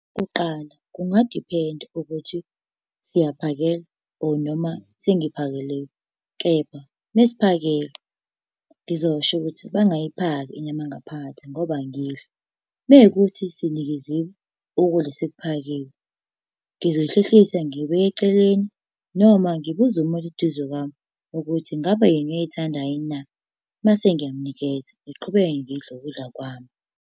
Kuqala, kungadiphenda ukuthi siyaphakelwa or noma sengiphakeliwe, kepha mesiphakelwa ngizosho ukuthi bangayiphaki inyama yangaphakathi ngoba angiyidli. Mekuwukuthi sinikeziwe, ukudla sekuphakiwe, ngizoy'hlehlisa ngiyibeke eceleni noma ngibuze umuntu eduze kwami ukuthi ngabe yena uyayithanda yini na, mase ngiyamunikeza, ngiqhubeke ngidle ukudla kwami.